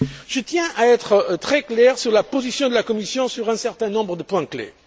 Je tiens à être très clair sur la position de la Commission sur un certain nombre de points clés.